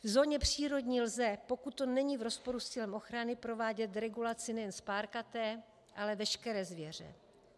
V zóně přírodní lze, pokud to není v rozporu s cílem ochrany, provádět regulaci nejen spárkaté, ale veškeré zvěře.